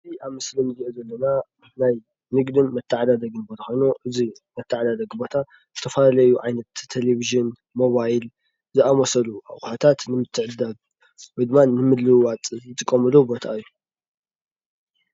እዚ አብ ምስሊ እንሪኦ ዘለና ናይ ንግድን መተዓዳደግን ቦታ ኮይኑ እዚ መተዓዳደጊ ቦታ ዝተፈላለዩ ዓይነት ቴሊቪዥን ፣ሞባይል ዝአመሰሉ አቁሑታት ንምትዕድዳግ ወይ ድማ ንምልውዋጥ ንጥቀመሉ ቦታ እዩ፡፡